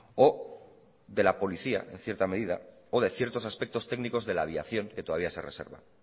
o de la policía en cierta medida o de ciertos aspectos técnicos de la aviación que todavía se reserva